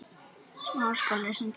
Ég ein geri það.